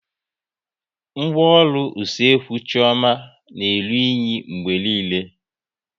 Ngwaọrụ Usekwu Chioma na-eru unyi mgbe niile